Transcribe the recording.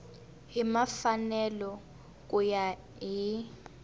hi mfanelo ku ya hi